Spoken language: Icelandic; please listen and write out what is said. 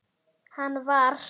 Hann var.